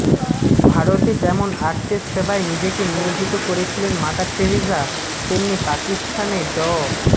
ভারতে যেমন আর্তের সেবায় নিজেকে নিয়োজিত করেছিলেন মাদার টেরেসা তেমনি পাকিস্তানে ড